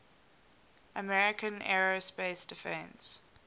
american aerospace defense